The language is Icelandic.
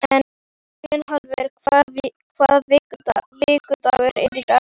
Gunnhallur, hvaða vikudagur er í dag?